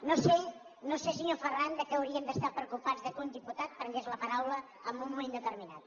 no sé senyor ferran per què haurien d’estar preocupats que un diputat prengués la paraula en un moment determinat